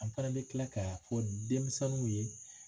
An fɛnɛ bɛ kila k'a fɔ denmisɛninw ye